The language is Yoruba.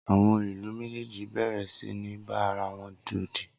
Awọn ìlú méjèèjì béèrè sì ní bá ara wọn yodì